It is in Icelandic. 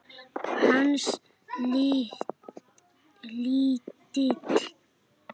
Hans lítill.